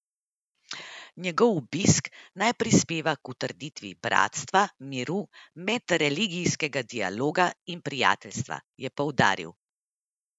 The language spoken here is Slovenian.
Njegov obisk naj prispeva k utrditvi bratstva, miru, medreligijskega dialoga in prijateljstva, je poudaril.